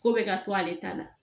Ko bɛ ka to ale ta la